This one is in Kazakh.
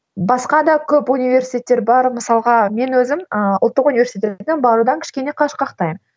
басқа да көп университеттер бар мысалға мен өзім ыыы ұлттық университетке барудан кішкене қашқақтаймын